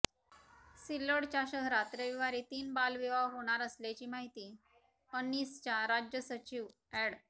सिल्लोड शहरात रविवारी तीन बालविवाह होणार असल्याची माहिती अंनिसच्या राज्य सचिव अॅड